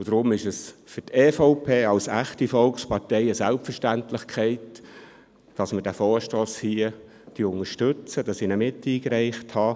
Deshalb ist es für die EVP als echte Volkspartei eine Selbstverständlichkeit, diesen Vorstoss zu unterstützen, den ich miteingereicht habe.